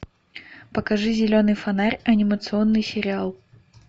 покажи зеленый фонарь анимационный сериал